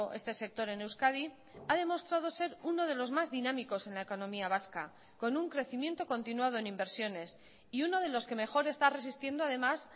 este sector en euskadi ha demostrado ser uno de los más dinámicos en la economía vasca con un crecimiento continuado en inversiones y uno de los que mejor está resistiendo además